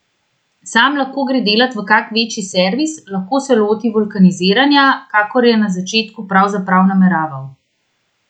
Sam lahko gre delat v kak večji servis, lahko se loti vulkaniziranja, kakor je na začetku pravzaprav nameraval.